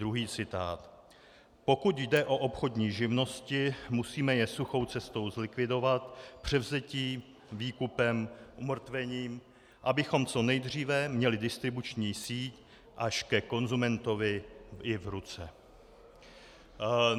Druhý citát: "Pokud jde o obchodní živnosti, musíme je suchou cestou zlikvidovat převzetím, výkupem, umrtvením, abychom co nejdříve měli distribuční síť až ke konzumentovi i v ruce."